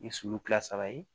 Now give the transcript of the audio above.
Ni sulu kile saba ye